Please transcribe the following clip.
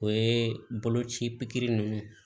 O ye boloci ninnu ye